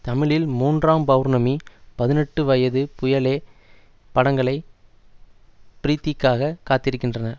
தமிழில் மூன்றாம் பவுர்ணமி பதினெட்டு வயசு புயலே படங்களை ப்ரீத்திக்காக காத்திருக்கின்றன